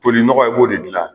Kolinɔgɔ a b'o de gilan .